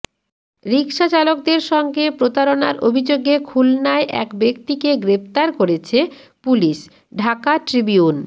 রিকশাচালকদের সঙ্গে প্রতারণার অভিযোগে খুলনায় এক ব্যক্তিকে গ্রেফতার করেছে পুলিশ ঢাকা ট্রিবিউন